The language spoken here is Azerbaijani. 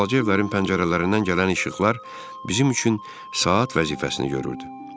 Balaca evlərin pəncərələrindən gələn işıqlar bizim üçün saat vəzifəsini görürdü.